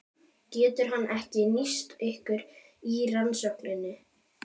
Getur hann ekki nýst ykkur í rannsókninni?